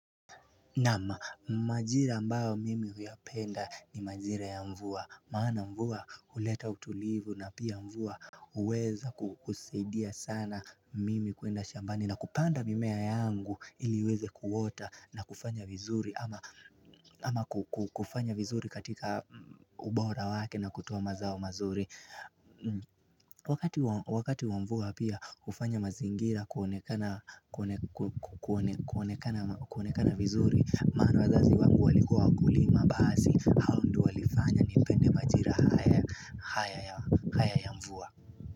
Majira ambao mimi nayapenda ni majira ya mvua Maana mvua huleta utulivu na pia mvua uweza kusaidia sana mimi kwenda shambani na kupanda mimea yangu iliweze kuota na kufanya vizuri kufanya vizuri katika ubora wake na kutoamazao mazuri Wakati wamvua pia ufanya mazingira kuonekana vizuri Maana wazazi wangu walikua wakulima hao Ndio waliofanya nipende majira haya.